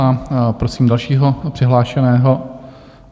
A prosím dalšího přihlášeného...